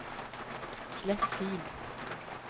slett fil